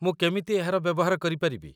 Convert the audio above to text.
ମୁଁ କେମିତି ଏହାର ବ୍ୟବହାର କରିପାରିବି ?